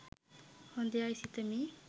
හොඳ යයි සිතමි